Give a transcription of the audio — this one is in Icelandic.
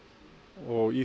og í